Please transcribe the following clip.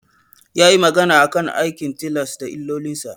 Yayi magana akan aikin tilas da illolinsa.